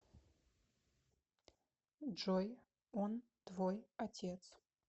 джой он твой отец